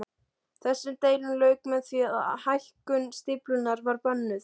Þessum deilum lauk með því að hækkun stíflunnar var bönnuð.